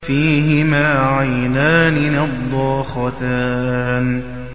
فِيهِمَا عَيْنَانِ نَضَّاخَتَانِ